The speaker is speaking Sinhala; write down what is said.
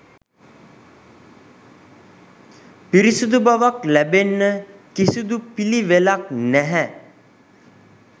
පිරිසිදු බවක් ලැබෙන්න කිසිදු පිළිවෙලක් නැහැ.